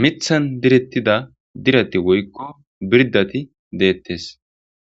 mithan direttida dirati woykko birdati deettes.